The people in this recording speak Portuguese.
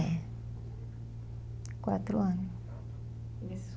É. Quatro ano.